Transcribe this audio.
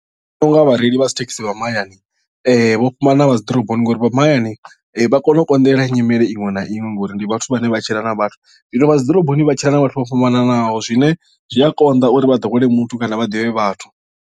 Ndi vhona unga vhareili vha dzithekhisi vha mahayani vho fhambana na vha dziḓoroboni ngori vha mahayani vha kona u konḓelela nyimele iṅwe na iṅwe ngori ndi vhathu vhane vha tshila na vhathu zwino vha dziḓoroboni vha tshila na vhathu vho fhambananaho zwine zwi a konḓa uri vha ḓowele muthu kana vha ḓivhe vhathu.